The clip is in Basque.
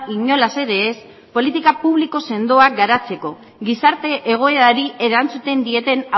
inolaz ere ez politika publiko sendoak garatzeko gizarte egoerari erantzuten dieten